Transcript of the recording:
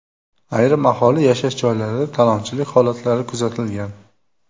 Ayrim aholi yashash joylarida talonchilik holatlari kuzatilgan.